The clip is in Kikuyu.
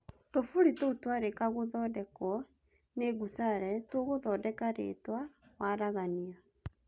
Tũburi tũu tũarika gũthondekwo ni Gusale tũgũthondeka rĩtwa "waragania?"